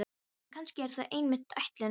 En kannski er það einmitt ætlunin.